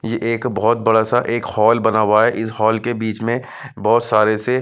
ये एक बहुत बड़ा-सा एक हॉल बना हुआ है इस हॉल के बीच में बहुत सारे से--